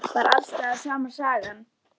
Var alls staðar sama sagan?